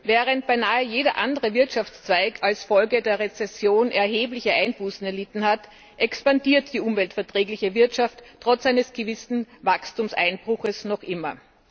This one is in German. Während beinahe jeder andere Wirtschaftszweig als Folge der Rezession erhebliche Einbußen erlitten hat, expandiert die umweltverträgliche Wirtschaft trotz eines gewissen Wachstumseinbruches noch immer.